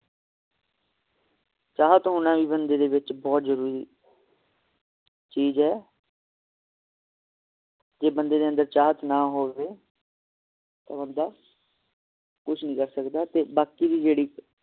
ਚਾਹਤ ਹੋਣਾ ਵੀ ਬੰਦੇ ਦੇ ਵਿਚ ਬਹੁਤ ਜਰੂਰੀ ਚੀਜ ਏ ਜੇ ਬੰਦੇ ਦੇ ਅੰਦਰ ਚਾਹਤ ਨਾ ਹੋਵੇ ਤੇ ਬੰਦਾ ਕੁਛ ਨਹੀਂ ਕਰ ਸਕਦਾ ਤੇ ਬਾਕੀ ਦੀ ਜਿਹੜੀ